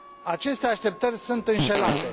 Aceste așteptări sunt înșelate.